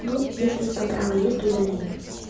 ну если у тебя права есть то удаляй